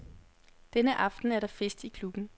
Denne aften er der fest i klubben.